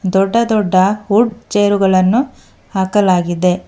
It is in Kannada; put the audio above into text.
ದೊಡ್ಡ ದೊಡ್ಡ ವುಡ್ ಚೇರುಗಳನ್ನು ಹಾಕಲಾಗಿದೆ.